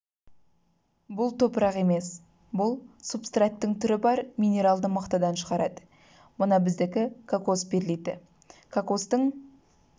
бұл топырақ емес бұл супстраттың түрі бар минералды мақтадан шығарады мына біздікі кокос перлиті кокостың